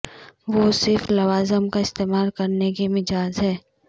وہ صرف لوازم کا استعمال کرنے کے مجاز ہیں